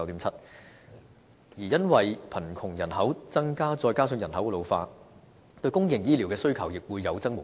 至於因為貧窮人口增加再加上人口老化，對公營醫療的需求亦會有增無減。